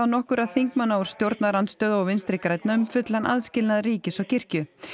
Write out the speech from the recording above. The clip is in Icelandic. nokkurra þingmanna úr stjórnarandstöðu og Vinstri grænum um fullan aðskilnað ríkis og kirkju